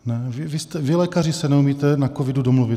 Vy lékaři se neumíte na covidu domluvit.